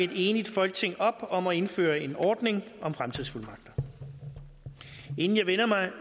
et enigt folketing op om at indføre en ordning om fremtidsfuldmagter inden jeg vender mig